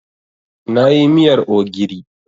Na yi miyar ogiri.